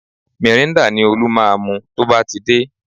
Mìrîńdà ni Olú máa mu tó bá ti dé